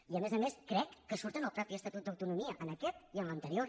i a més a més crec que surt en el mateix estatut d’autonomia en aquest i en l’anterior